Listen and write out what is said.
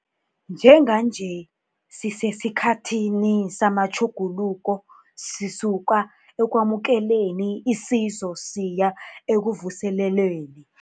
Njenganje sisesikhathini samatjhuguluko sisuka ekwamukeleni isizo siya ekuvuselelweni.